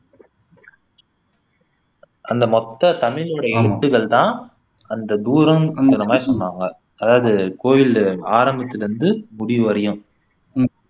அந்த மொத்த தமிழோட எழுத்துக்கள் தான் அந்த தூரங்கற மாதிரி சொன்னாங்க அதாவது கோய்லுடைய ஆரம்பத்தில இருந்து முடிவு வரையும்